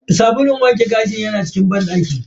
Sabulun wanke gashi yana cikin banɗakin.